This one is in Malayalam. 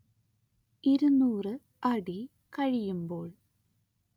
ഇരുനൂറ്‌ അടി കഴിയുമ്പോൾ